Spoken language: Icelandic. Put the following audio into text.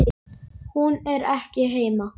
Hún er ekki heima.